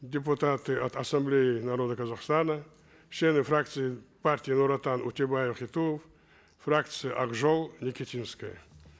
депутаты от ассамблеи народа казахстана члены фракции партии нур отан утебаев и туов фракции ак жол никитинская